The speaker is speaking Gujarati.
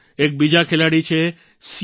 એક બીજાં ખેલાડી છે સી